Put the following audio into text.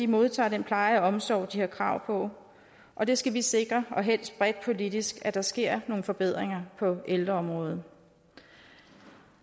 modtager den pleje og omsorg de har krav på og det skal vi sikre og helst bredt politisk altså at der sker nogle forbedringer på ældreområdet